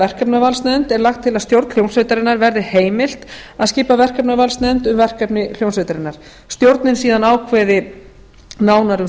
verkefnavalsnefnd er lagt til að stjórn hljómsveitarinnar verði heimilt að skipa verkefnavalsnefnd um verkefni hljómsveitarinnar stjórnin ákveði síðan nánar um